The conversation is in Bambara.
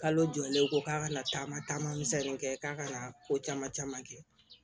Kalo jɔlen ko k'a kana taama taama misɛnnin kɛ k'a ka na ko caman caman kɛ